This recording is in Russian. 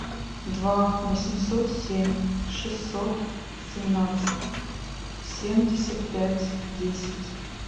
два восемьсот семь шестьсот семнадцать семьдесят пять десять